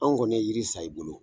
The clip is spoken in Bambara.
An kɔni ye yiri san i bolo